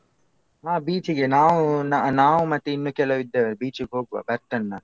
ಹಾ beach ಗೆ ನಾವೂ ನಾವು ಮತ್ತೆ ಇನ್ನು ಕೆಲವ್ ಇದ್ದೇವೆ beach ಗೆ ಹೋಗ್ವ ಬರ್ತೆನ್ ನಾನ್.